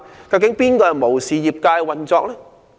究竟是誰無視業界運作？